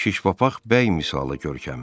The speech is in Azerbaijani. Şiş papaq bəy misalı görkəmi.